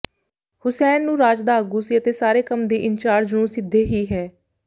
ਹੁਸੈਨ ਨੂੰ ਰਾਜ ਦਾ ਆਗੂ ਸੀ ਅਤੇ ਸਾਰੇ ਕੰਮ ਦੇ ਇੰਚਾਰਜ ਨੂੰ ਸਿੱਧੇ ਹੀ ਹੈ